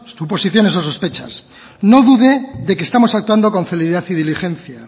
suposiciones o sospechas no dude de que estamos actuado con celeridad y diligencia